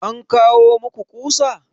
An kawo maku ƙusa?